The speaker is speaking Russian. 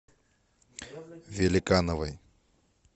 великановой